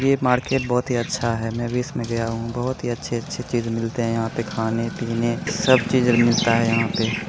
ये मार्केट बहुत ही अच्छा है मैं भी इसमें गया हूँ बहुत ही अच्छी अच्छी चीजें मिलते है यहाँ खाने पीने सब चीजें मिलता है यहाँ पे ।